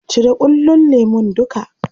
Cire ƙullon lemun duka.